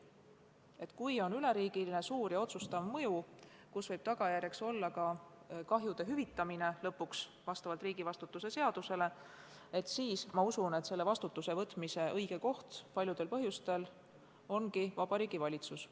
Kui tegemist on üleriigilise, suure ja otsustava mõjuga, mille tagajärjeks võib vastavalt riigivastutuse seadusele olla ka kahju hüvitamine, siis ma usun, et paljudel juhtudel ongi õige, et vastutuse võtab Vabariigi Valitsus.